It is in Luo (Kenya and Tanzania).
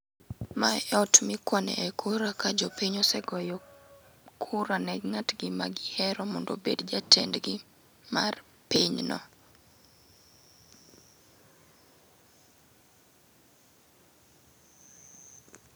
Mae eot mikwane kura ka jopiny osee goyo kura ni ngatgi magihero mondo obed jatendgi mar pinyno